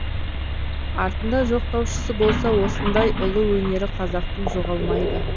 артында жоқтаушысы болса осындай ұлы өнері қазақтың жоғалмайды